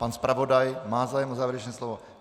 Pan zpravodaj má zájem o závěrečné slovo?